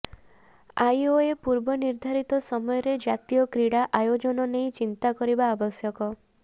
IOA ପୂର୍ବ ନିର୍ଦ୍ଧାରିତ ସମୟରେ ଜାତୀୟ କ୍ରୀଡ଼ା ଆୟୋଜନ ନେଇ ଚିନ୍ତା କରିବା ଆବଶ୍ୟକ